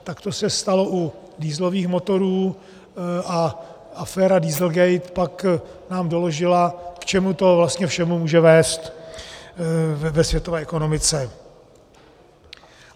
Tak to se stalo u dieselových motorů a aféra dieselgate pak nám doložila, k čemu to vlastně všemu může vést ve světové ekonomice.